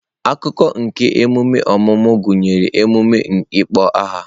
Akụkụ nke emume ọmụmụ gụnyere emume ịkpọ aha.